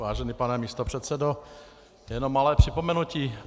Vážený pane místopředsedo, jenom malé připomenutí.